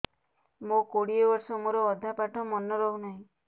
ମୋ କୋଡ଼ିଏ ବର୍ଷ ମୋର ଅଧା ପାଠ ମନେ ରହୁନାହିଁ